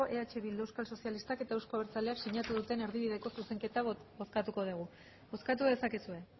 eh bildu euskal sozialistak eta euzko abertzaleak sinatu duten erdibideko zuzenketa bozkatuko dugu bozkatu dezakezue